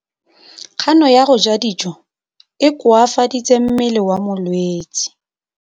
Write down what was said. Kganô ya go ja dijo e koafaditse mmele wa molwetse.